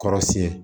Kɔrɔsiyɛn